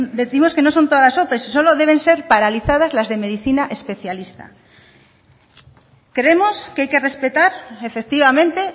décimos que no son todas las ope solo deben ser paralizadas las de medicina especialista creemos que hay que respetar efectivamente